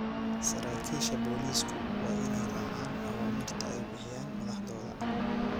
Saraakiisha booliisku waa inay raacaan awaamiirta ay bixiyaan madaxdooda.